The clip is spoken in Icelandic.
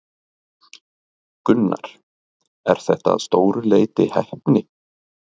Gunnar: Er þetta að stóru leyti heppni?